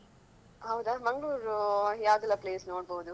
ಹೌದಾ ಮಂಗ್ಳೂರು ಯಾವುದೆಲ್ಲಾ place ನೋಡ್ಬೋದು?